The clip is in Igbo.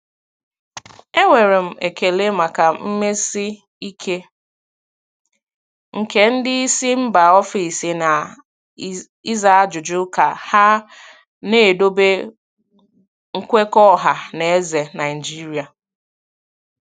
Enwere m ekele maka mmesi ike nke ndị isi mba ofesi na ịza ajụjụ ka ha na-edobe nkwekọ ọha na eze Naijiria.